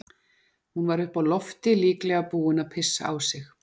Hún var uppi á lofti, líklega búin að pissa á sig.